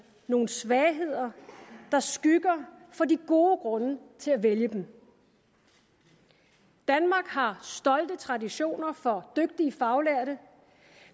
nogle svagheder der skygger for de gode grunde til at vælge dem danmark har stolte traditioner for dygtige faglærte